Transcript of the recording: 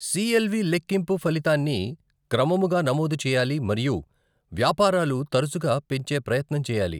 CLV లెక్కింపు ఫలితాన్ని క్రమముగా నమోదు చేయాలి మరియు వ్యాపారాలు తరచుగా పెంచే ప్రయత్నం చేయాలి.